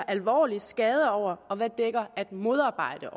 alvorlige skader dækker over og hvad at modarbejde